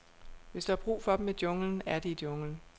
Hvis der er brug for dem i junglen, er de i junglen.